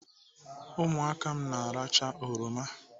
Ụmụaka m na-arachaa oroma.